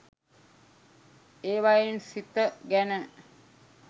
ඒවයින් සිත ගැන